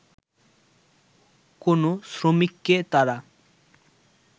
কোন শ্রমিককে তারা